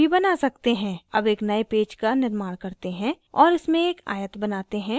अब एक नए पेज का निर्माण करते हैं और इसमें एक आयत बनाते हैं